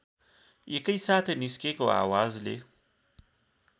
एकैसाथ निस्केको आवाजले